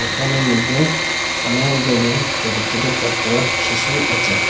একানের মদ্যে অনেকগুলি চোট চোট চাত্র শিশু আচে।